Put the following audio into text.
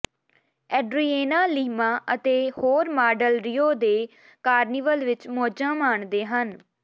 Adriana Lima ਅਤੇ ਹੋਰ model Rio ਦੇ ਕਾਰਨੀਵਲ ਵਿਚ ਮੌਜਾਂ ਮਾਣਦੇ ਹਨ